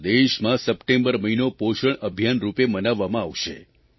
પૂરા દેશમાં સપ્ટેમ્બર મહિનો પોષણ અભિયાન રૂપે મનાવવામાં આવશે